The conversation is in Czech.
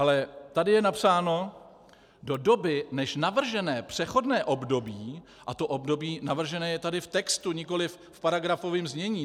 Ale tady je napsáno: Do doby, než navržené přechodné období - a to období navržené je tady v textu, nikoliv v paragrafovém znění.